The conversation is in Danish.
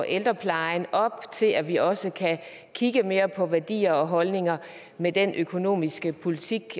ældreplejen op til at vi også kan kigge mere på værdier og holdninger med den økonomiske politik